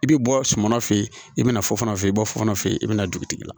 I bɛ bɔ sumana fɛ yen i bɛna fɔ fana fe yen i bɛ bɔ fɔ fana fɛ yen i bɛ na dugutigi la